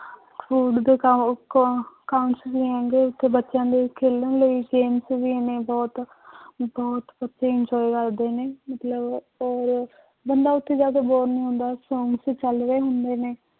Food ਦੇ ਕਾ ਅਹ ਹੈਗੇ ਉੱਥੇ ਬੱਚਿਆਂ ਦੇ ਖੇਲਣ ਲਈ games ਵੀ ਨੇ ਬਹੁਤ ਬਹੁਤ ਬੱਚੇ enjoy ਕਰਦੇ ਨੇ ਮਤਲਬ ਆਪਾਂ ਹੋਰ ਬੰਦਾ ਉੱਥੇ ਜਾ ਕੇ bore ਨੀ ਹੁੰਦਾ ਚੱਲ ਰਹੇ ਹੁੰਦੇ ਨੇ